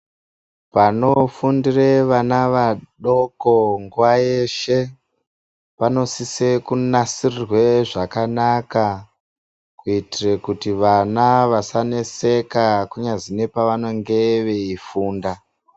Panofundire vana vadoko munguva yeshe panosise kunasirwe zvakanaka kuitire kuti vana vasaneseka kunyazwi nepevanenge veifunda.